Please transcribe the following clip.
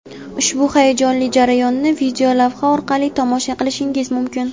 Ushbu hayajonli jarayonni videolavha orqali tomosha qilishingiz mumkin.